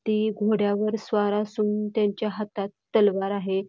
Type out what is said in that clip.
ते घोड्यावर स्वार असून त्यांच्या हातात तलवार आहे.